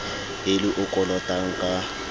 e le o kolotang ka